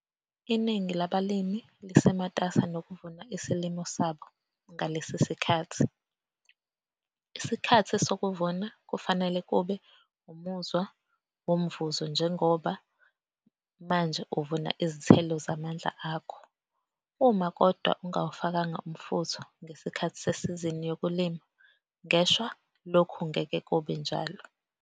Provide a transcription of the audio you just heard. Iningi labalimi lisematasa nokuvuna isilimo sabo ngalesi sikhathi. Isikhathi sokuvuna kufanele kube umuzwa womvuzo njengoba manje uvuna izithelo zamandla akho. Uma, kodwa ungawufakanga umfutho ngesikhathi sesizini yokulima ngeshwa lokhu ngeke kube njalo.